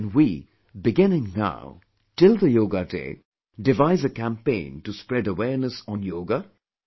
Can we, beginning now, till the Yoga Day, devise a campaign to spread awareness on Yoga